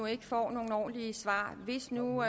ikke får nogen ordentlige svar hvis nu